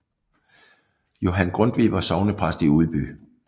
Johan Grundtvig var sognepræst i Udby